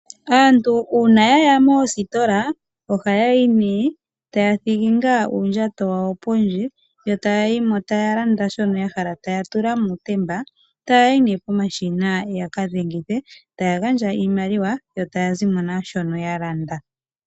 Aantu uuna yaya moositola ohaathingi uundjato wawo pondje yo taayi mo, taalanda shono yahala, taatula muutemba, taayi née pomashina yakadhengithe, taagandja iimaliwa yo taazimo naashoka yalanda.